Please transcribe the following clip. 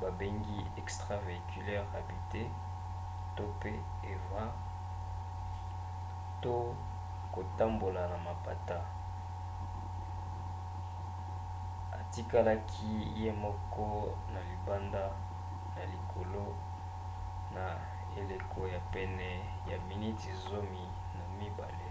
babengi extravéhiculaire habitée eva to kotambola na mapata atikalaki ye moko na libanda na likolo na eleko ya pene ya miniti zomi na mibale